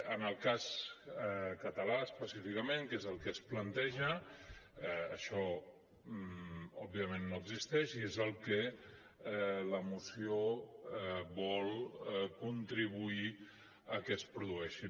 en el cas català específicament que és el que es planteja això òbviament no existeix i és el que la moció vol contribuir a que es produeixi